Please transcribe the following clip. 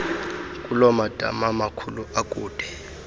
kulomadama makhulu akude